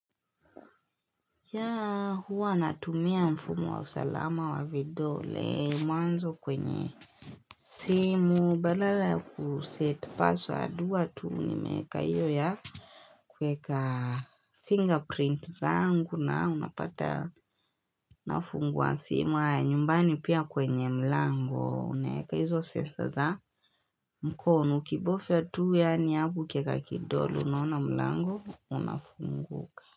Ya huwa natumia mfumo wa usalama wa vidole mwanzo kwenye simu badala kuset password hua tuu nimeka iyo ya Kweka finger print zangu na unapata nafungua simu haya nyumbani pia kwenye mlango unaeka hizo sensor za mkono ukibofya tuu yaani hapo ukieka kidole unaona mlango unafunguka.